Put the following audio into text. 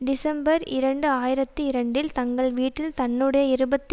December இரண்டு ஆயிரத்தி இரண்டில் தங்கள் வீட்டில் தன்னுடைய இருபத்தி